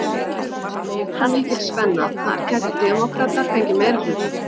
Þar er líka mikil spenna, þar gætu demókratar fengið meirihluta?